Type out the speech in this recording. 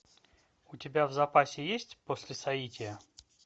у тебя в запасе есть после соития